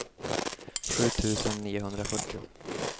sju tusen niohundrafyrtio